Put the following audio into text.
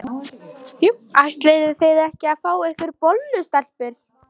Ætlið þið ekki að fá ykkur bollu, stelpur?